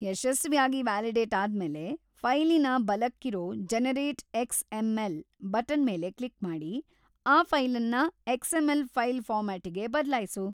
ಯಶಸ್ವಿಯಾಗಿ ವ್ಯಾಲಿಡೇಟ್‌ ಆದ್ಮೇಲೆ, ಫೈಲಿನ ಬಲಕ್ಕಿರೋ ʼಜೆನರೇಟ್‌ ಎಕ್ಸ್.‌ಎಂ.ಎಲ್.ʼ ಬಟನ್‌ ಮೇಲೆ ಕ್ಲಿಕ್‌ ಮಾಡಿ, ಆ ಫೈಲನ್ನ ಎಕ್ಸ್.‌ಎಂ.ಎಲ್. ಫೈಲ್‌ ಫಾರ್ಮಾಟಿಗೆ ಬದ್ಲಾಯ್ಸು.